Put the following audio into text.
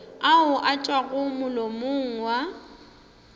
ao a tšwago molomong wa